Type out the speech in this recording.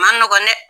Ma nɔgɔn dɛ